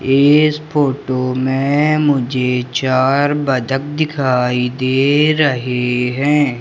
इस फोटो में मुझे चार बतख दिखाई दे रहे हैं।